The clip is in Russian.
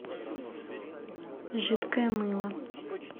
жидкое мыло